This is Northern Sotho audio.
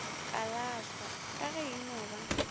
kalahlwa ka ge eno ba